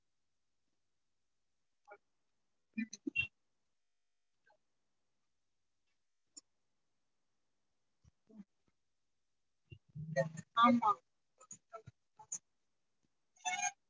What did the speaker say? ஆமா